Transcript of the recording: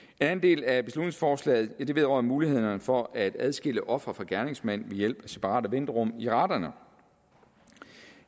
anden del af beslutningsforslaget vedrører mulighederne for at adskille offer fra gerningsmand ved hjælp af separate venterum i retterne